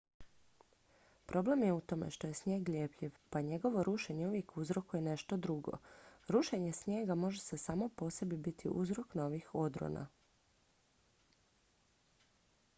problem je u tome što je snijeg ljepljiv pa njegovo rušenje uvijek uzrokuje nešto drugo rušenje snijega može samo po sebi biti uzrok novih odrona